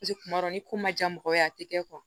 kuma dɔ ni ko ma diya mɔgɔ ye a tɛ kɛ